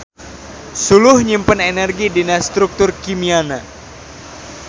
Suluh nyimpen energi dina struktur kimiana.